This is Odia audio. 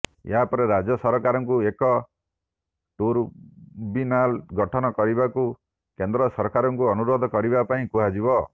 ଏହାପରେ ରାଜ୍ୟ ସରକାରଙ୍କୁ ଏକ ଟି୍ରବୁ୍ୟନାଲ ଗଠନ କରିବାକୁ କେନ୍ଦ୍ର ସରକାରଙ୍କୁ ଅନୁରୋଧ କରିବା ପାଇଁ କୁହାଯିବ